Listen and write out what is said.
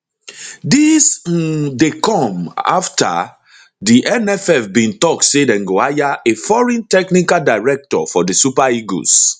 dis um dey come afta di nff bin tok say dem go hire a foreign technical director for di super eagles